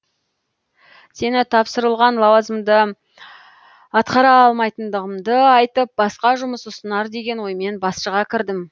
сеніп тапсырылған лауазымды атқара алмайтындығымды айтып басқа жұмыс ұсынар деген оймен басшыға кірдім